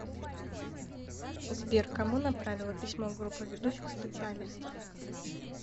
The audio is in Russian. сбер кому направила письмо группа ведущих специалистов